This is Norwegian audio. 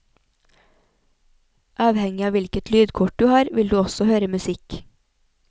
Avhengig av hvilket lydkort du har vil du også høre musikk.